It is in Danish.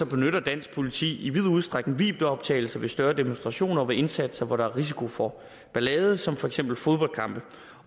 benytter dansk politi i vid udstrækning videooptagelser ved større demonstrationer og ved indsatser hvor der er risiko for ballade som for eksempel fodboldkampe